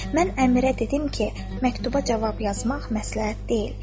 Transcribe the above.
Mən əmirə dedim ki, məktuba cavab yazmaq məsləhət deyil.